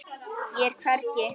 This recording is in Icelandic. Ég er hvergi.